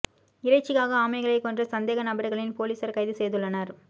இறைச்சிக்காக ஆமைகளை கொன்ற சந்தேக நபர்களில் போலீசார் கைது செய்துள்ளனர்